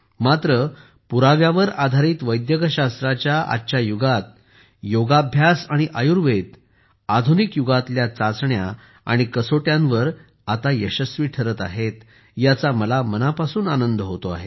मात्र पुराव्यावर आधारित वैद्यकशास्त्राच्या आजच्या युगात योगाभ्यास आणि आयुर्वेद आता आधुनिक युगातल्या चाचण्या आणि कसोट्यांवर यशस्वी ठरत आहेत याचा मला मनापासून आनंद होतो आहे